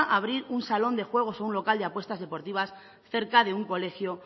abrir un salón de juego o un local de apuestas deportivas cerca de un colegio